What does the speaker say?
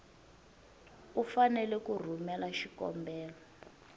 u fanele ku rhumela xikombelo